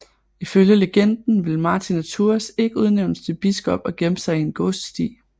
Ifølge legenden ville Martin af Tours ikke udnævnes til biskop og gemte sig i en gåsesti